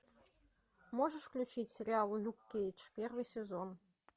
можешь включить сериал люк кейдж первый сезон